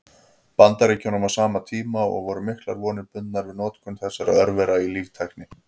Bandaríkjunum á sama tíma, og voru miklar vonir bundnar við notkun þessara örvera í líftækni.